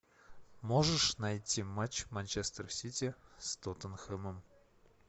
можешь найти матч манчестер сити с тоттенхэмом